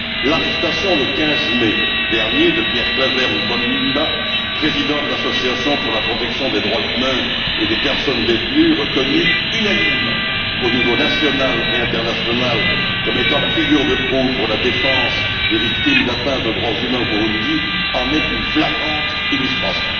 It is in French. L'arrestation le 15 mai dernier de Pierre président de l'Association pour la protection des droits humains et des personnes détenues, reconnu unanimement au niveau national et international comme étant la figure de proue pour la défense des victimes d'atteintes aux droits humains au Burundi, en est une flagrante illustration.